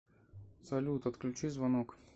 салют отключи звонок